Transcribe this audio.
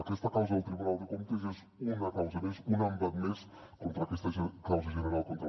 aquesta causa al tribunal de comptes és una causa més un embat més contra aquesta causa general contra l’independentisme